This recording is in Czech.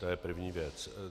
To je první věc.